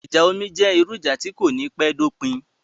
Ìjà omi jẹ́ irú ìjà tí kò ní pẹ́ dopin